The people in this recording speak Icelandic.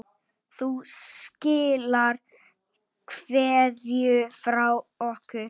Þú skilar kveðju frá okkur.